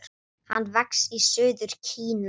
Hann vex í suður Kína.